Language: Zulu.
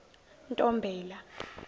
ntombela